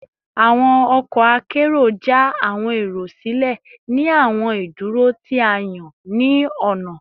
Awọn ọkọ akero ja awọn ero silẹ ni awọn iduro ti a yan ni ọna